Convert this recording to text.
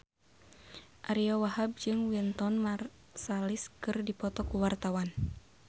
Ariyo Wahab jeung Wynton Marsalis keur dipoto ku wartawan